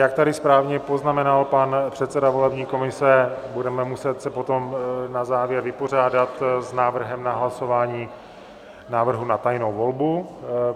Jak tady správně poznamenal pan předseda volební komise, budeme muset se potom na závěr vypořádat s návrhem na hlasování návrhu na tajnou volbu.